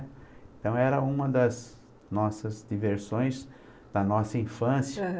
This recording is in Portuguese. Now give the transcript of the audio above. Então era uma das nossas diversões da nossa infância.